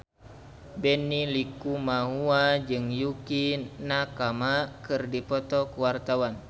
Benny Likumahua jeung Yukie Nakama keur dipoto ku wartawan